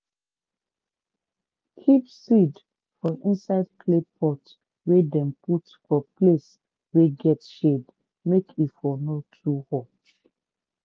keep seed for inside clay pot wey dem put for place wey get shade make e for no too hot